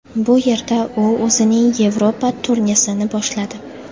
Bu yerda u o‘zining Yevropa turnesini boshladi.